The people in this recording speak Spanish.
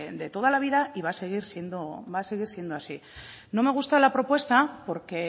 de toda la vida y va a seguir siendo así no me gusta la propuesta porque